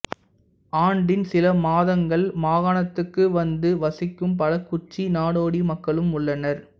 ஆண்டின் சில மாதங்கள் மாகாணத்துக்கு வந்து வசிக்கும் பல குச்சி நாடோடி மக்களும் உள்ளனர்